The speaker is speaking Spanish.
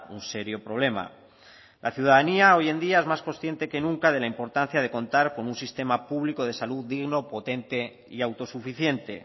un serio problema la ciudadanía hoy en día es más consciente que nunca de la importancia de contar con un sistema público de salud digno potente y autosuficiente